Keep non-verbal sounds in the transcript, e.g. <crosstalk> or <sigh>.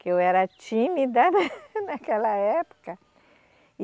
Que eu era tímida <laughs> naquela época, e